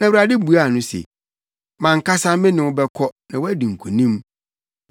Na Awurade buaa no se, “Mʼankasa me ne wo bɛkɔ na woadi nkonim.”